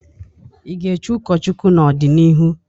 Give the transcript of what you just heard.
Ị ga-echị ụkọchukwu n'ọdịnihu?